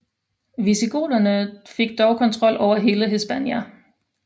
Visigoterne fik dog kontrol over hele Hispania